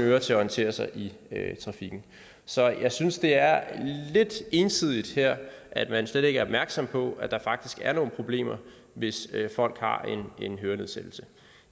ører til at orientere sig i trafikken så jeg synes det er lidt ensidigt at man slet ikke er opmærksom på at der faktisk er nogle problemer hvis folk har hørenedsættelse